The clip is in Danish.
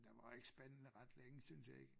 Den var da ikke spændende ret længe synes jeg ikke